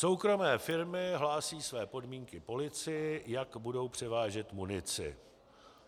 Soukromé firmy hlásí své podmínky policii, jak budou převážet munici.